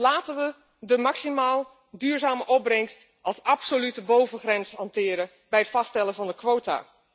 Laten we de maximaal duurzame opbrengst als absolute bovengrens hanteren bij het vaststellen van de quota.